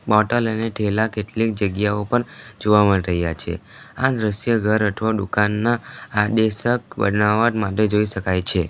Bottle અને ઠેલા કેટલીક જગ્યાઓ પન જોવા માટે રહ્યા છે આ દ્રશ્ય ઘર અઠવા દુકાનના આદેશક બનાવટ માટે જોઈ શકાય છે.